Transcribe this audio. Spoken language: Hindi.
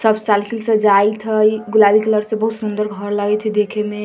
सब साइकिल से जाएत हेय गुलाबी कलर से बहुत सुन्दर घर लगएत हेय देखे में।